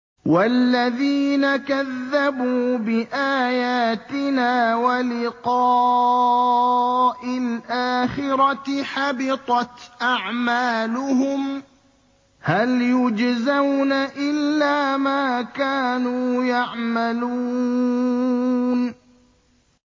وَالَّذِينَ كَذَّبُوا بِآيَاتِنَا وَلِقَاءِ الْآخِرَةِ حَبِطَتْ أَعْمَالُهُمْ ۚ هَلْ يُجْزَوْنَ إِلَّا مَا كَانُوا يَعْمَلُونَ